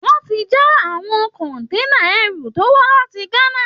Wọn ti já àwọn kọ̀ǹténà ẹrù tó wá láti Ghana